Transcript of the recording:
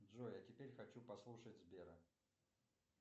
джой а теперь хочу послушать сбера